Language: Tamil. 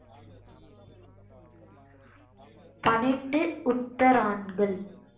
பன்னிரண்டு உத்தரான்கள்